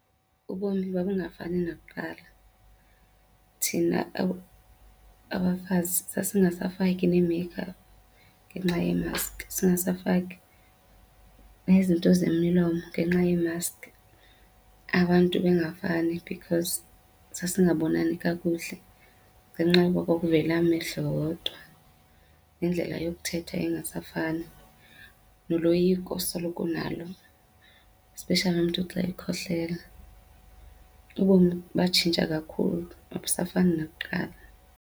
Ubomi babungafani nakuqala. Thina abafazi sasingasafaki nee-makeup ngenxa yeemaski, singasafaki nezinto zemilomo ngenxa yeemaski. Abantu bengavani because sasingabonani kakuhle ngenxa yoba kwakuvela amehlo wodwa nendlela yokuthetha ingasafani. Noloyiko osoloko unalo, especially umntu xa ekhohlela. Ubomi batshintsha kakhulu, abusafani nakuqala.